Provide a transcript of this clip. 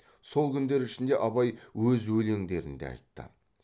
сол күндер ішінде абай өз өлеңдерін де айтты